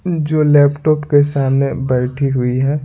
जो लैपटॉप के सामने बैठी हुई है।